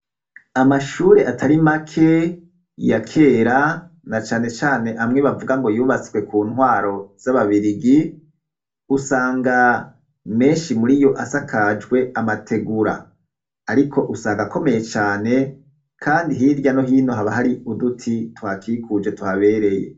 amashure atari make ya kera na cane cane amwe bavuga ngo yubatswe ku ntwaro z'ababirigi usanga menshi muri yo asakajwe amategura ariko usanga akomeye cane kandi hirya no hino haba hari uduti twakikuje tuhabereye